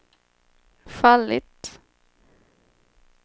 fallit